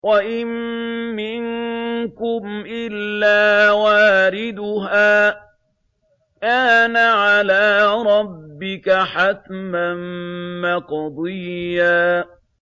وَإِن مِّنكُمْ إِلَّا وَارِدُهَا ۚ كَانَ عَلَىٰ رَبِّكَ حَتْمًا مَّقْضِيًّا